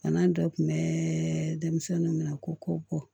Bana dɔ kun bɛ denmisɛnninw minɛ ko bɔ